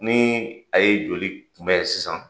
Ni a ye joli kunbɛn sisan